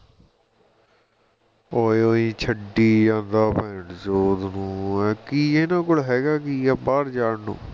ਓਏ ਓਇ ਛੱਡੀ ਜਾਂਦਾ ਭੈਣਚੋਦ ਨੂੰ ਕਿ ਇਹਨਾਂ ਕੋਲ ਹੈਗਾ ਕਿ ਆ ਬਾਹਰ ਜਾਣ ਨੂੰ